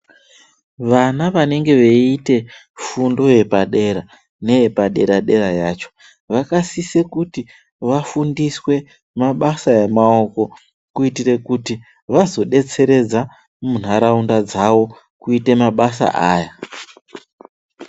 Vana vanenge veiite fundo yepadera neyepadera-dera yacho , vakasisa kuti vafundiswe mabasa emaoko kuitire kuti vazodetseredza munharaunda dzavo kuite mabasa aya.